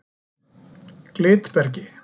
Glitbergi